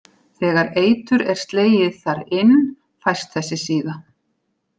Þegar eitur er slegið þar inn fæst þessi síða.